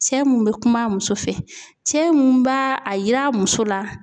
Cɛ mun bɛ kuma a muso fɛ, cɛ mun b'a a yira a muso la